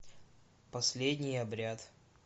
последний обряд